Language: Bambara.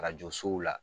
Arajo sow la